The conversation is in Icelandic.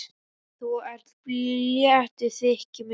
Þú ert léttur, þykir mér!